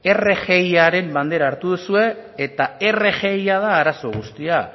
rgiaren bandera hartu duzue eta rgia da arazo guztia